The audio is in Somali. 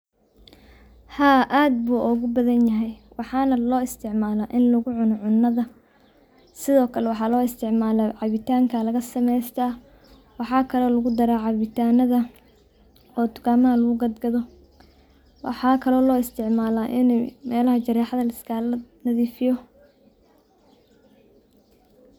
Haa adh buogubadhanyaxan, waxana loisticmala in lagucuno cunadha, sidhokale waxa loisticmaa cabitanka lagasamesta, waxakale lagudara cabitanadha oo dukamaxa lagugadgadho, waxakale oo loisticmala ini melaxa jarexadha liskalanadhifiyo.